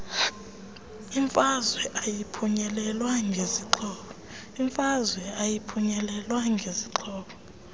imfazwe ayiphunyelelwa ngezixhobo